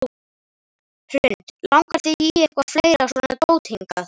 Hrund: Langar þig í eitthvað fleira svona dót hingað?